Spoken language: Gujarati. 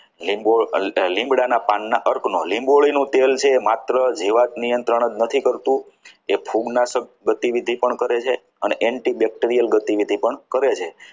લીંબોડી લીમડાના પાનના લીંબોળીનું તેલ છે માત્ર જીવાત નિયંત્રણ જ નથી કરતું તે ફૂગનાશક પ્રતિ વિધિ પણ કરે છે અને antibacterial ગતિ પણ કરે છે.